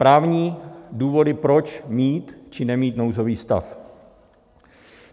Právní důvody, proč mít či nemít nouzový stav.